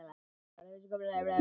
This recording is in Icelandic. Það er ekki svo núna.